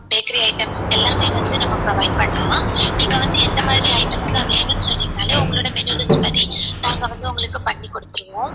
bakkery items எல்லாமே வந்து நம்ம provide பண்ணலாம் நீங்க வந்து எந்த மாதிரி items லாம் வேணும் னு சொன்னீங்கனாலே உங்களோட menu list படி நாங்க வந்து உங்களுக்கு பண்ணிகுடுத்துருவோம்